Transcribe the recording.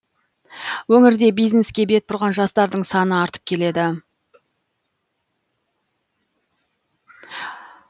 өңірде бизнеске бет бұрған жастардың саны артып келеді